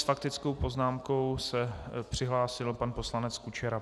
S faktickou poznámkou se přihlásil pan poslanec Kučera.